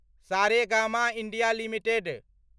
Saregama India limited